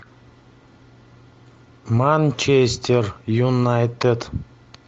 манчестер юнайтед